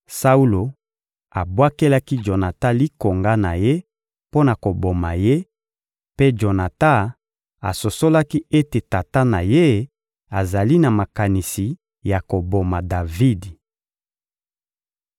Saulo abwakelaki Jonatan likonga na ye mpo na koboma ye, mpe Jonatan asosolaki ete tata na ye azali na makanisi ya koboma Davidi.